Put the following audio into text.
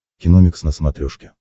киномикс на смотрешке